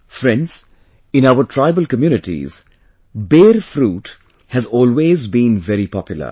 Friends, in our tribal communities, Ber fruit has always been very popular